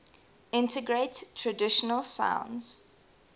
integrate traditional sounds